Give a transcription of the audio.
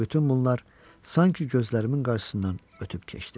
Bütün bunlar sanki gözlərimin qarşısından ötüb keçdi.